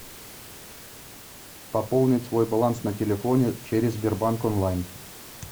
пополнить свой баланс на телефоне через сбербанк онлайн